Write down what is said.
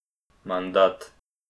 Mandat.